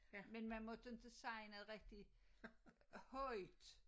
Men man måtte ikke sige noget rigtig højt